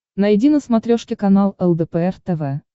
найди на смотрешке канал лдпр тв